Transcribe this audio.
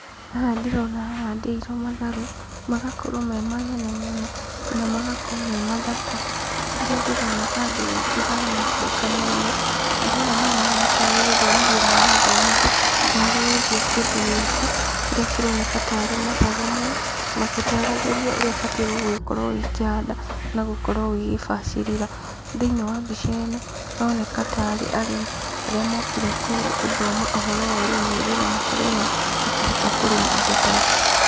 Haha ndĩrona hahandĩirwo matharũ, magakorwo me manene mũno na magakorwo me mathaka, harĩa ndĩrona andũ aingĩ haha macokanĩrĩire. Andũ aya marahana ta arĩ gũthomithio marathomithio ũhoro wĩgiĩ kĩndu gĩkĩ kĩrĩa kĩroneka ta arĩ matharũ maya, magĩtaragĩrio ũrĩa ũbatiĩ gũkorwo ũgĩkĩhanda na gũkorwo ũgĩgĩbacĩrĩra.Thĩiniĩ wa mbica ĩno, haroneka ta arĩ arĩmi arĩa mokire gũthoma ũhoro wa ũrĩmi nĩ getha makorwo o nao makĩhota kũrĩma indo ta ici.